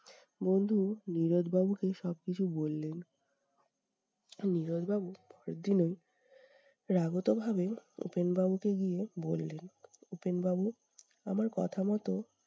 বন্ধু নীরদ বাবুকে সব কিছু বললেন। নীরদ বাবু উত্তর দিলেন- রাগত ভাবে উপেন বাবুকে গিয়ে বললেন, উপেনবাবু আমার কথা মতো